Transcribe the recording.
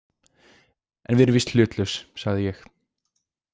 En við erum víst hlutlaus, sagði ég.